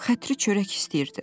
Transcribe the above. Xətri çörək istəyirdi.